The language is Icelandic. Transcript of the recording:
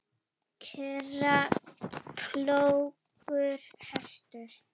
kerra, plógur, hestur.